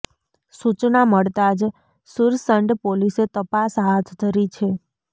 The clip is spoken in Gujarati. સૂચના મળતા જ સુરસંડ પોલીસે તપાસ હાથ ધરી છે